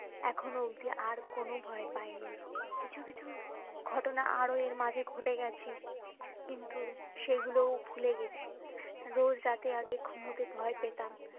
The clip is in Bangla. এখুনো অবধি আর কোনো ভয় পাইনি কিছু কিছু ঘটনা আরো এর মাঝে ঘটে গেছে কিন্তু সেই গুলো ভুলে গেছি রোজ রাতে আগেই ঘুমোতে ভয় পেতাম